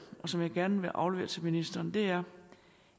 som jeg gerne vil aflevere til ministeren er